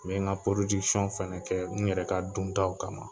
N bɛ n ka fɛnɛ kɛ, n yɛrɛ ka duntaw kama.